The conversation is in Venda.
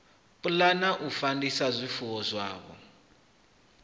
pulana u fandisa zwifuwo zwavho